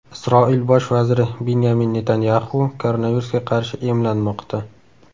Isroil bosh vaziri Binyamin Netanyaxu koronavirusga qarshi emlanmoqda.